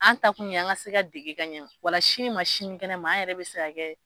An ta kun ye an ka se ka dege ka ɲɛ wala sini ma sini kɛnɛ ma an yɛrɛ bɛ se ka kɛ.